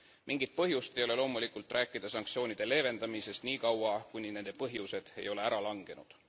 Mingit põhjust ei ole loomulikult rääkida sanktsioonide leevendamisest, niikaua kuni nende põhjused ei ole ära langenud.